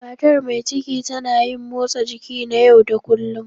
Matar mai ciki ta na yin motsa jiki na yau da kullun.